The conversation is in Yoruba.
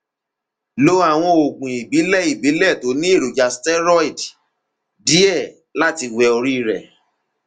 lo àwọn oògùn ìbílẹ ìbílẹ tó ní èròjà steroid díẹ láti wẹ orí rẹ